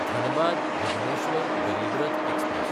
धनबाद–भुबनेश्वर गरीब रथ एक्सप्रॅस